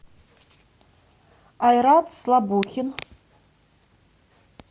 айрат слабухин